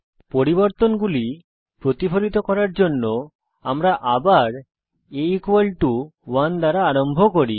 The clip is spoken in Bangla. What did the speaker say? পরিবর্তনগুলি প্রতিফলিত করার জন্য আমরা আবার a1 দ্বারা আরম্ভ করি